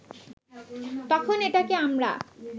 তখন এটাকে আমরা